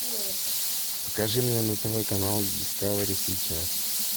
покажи мне на тв канал дискавери сейчас